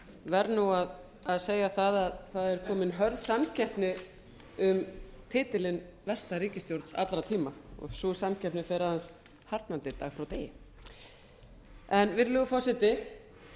verð nú að segja það að það er komin hörð samkeppni um titilinn versta ríkisstjórn allra tíma sú samkeppni fer aðeins harðnandi dag frá degi virðulegur forseti